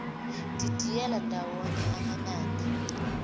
didiyela ndawonye amanani